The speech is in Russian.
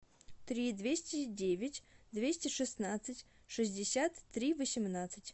три двести девять двести шестнадцать шестьдесят три восемнадцать